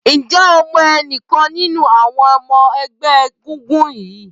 Ǹjẹ́ o mọ ẹnikẹ́ni nínú àwọn ẹgbẹ́ egúngún rí?